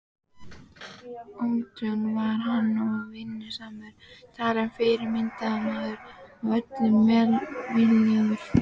Ötull var hann og vinnusamur talinn fyrirmyndarmaður og öllum velviljaður.